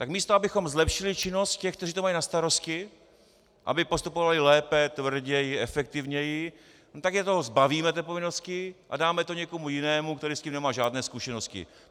Tak místo abychom zlepšili činnost těch, kteří to mají na starosti, aby postupovali lépe, tvrději, efektivněji, tak je toho zbavíme, té povinnosti, a dáme to někomu jinému, který s tím nemá žádné zkušenosti.